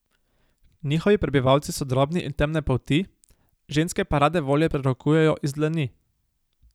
Njihovi prebivalci so drobni in temne polti, ženske pa rade volje prerokujejo iz dlani.